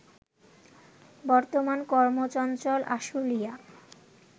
বর্তমান কর্মচঞ্চল আশুলিয়া